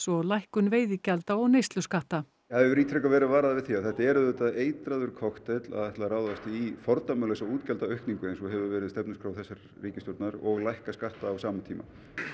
og lækkun veiðigjalda og neysluskatta það hefur ítrekað verið varað við því að þetta er auðvitað eitraður kokteill að ætla að ráðast í fordæmalausa útgjaldaaukningu eins og hefur verið á stefnuskrá þessarar ríkisstjórnar og lækka skatta á sama tíma